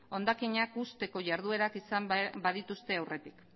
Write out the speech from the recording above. hondakinak uzteko jarduerak izan badituzte aurretik